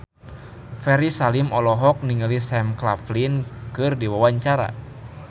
Ferry Salim olohok ningali Sam Claflin keur diwawancara